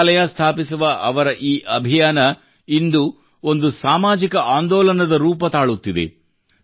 ಗ್ರಂಥಾಲಯ ಸ್ಥಾಪಿಸುವ ಅವರ ಈ ಅಭಿಯಾನ ಇಂದು ಒಂದು ಸಾಮಾಜಿಕ ಆಂದೋಲನದ ರೂಪ ತಾಳುತ್ತಿದೆ